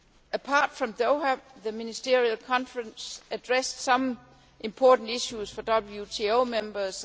Apart from Doha, the Ministerial Conference addressed some important issues for WTO members.